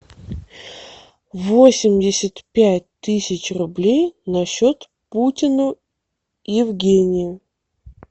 восемьдесят пять тысяч рублей на счет путину евгению